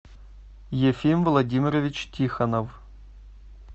ефим владимирович тихонов